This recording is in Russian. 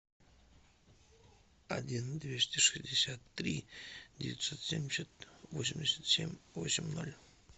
один двести шестьдесят три девятьсот семьдесят восемьдесят семь восемь ноль